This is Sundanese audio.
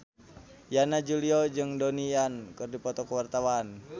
Yana Julio jeung Donnie Yan keur dipoto ku wartawan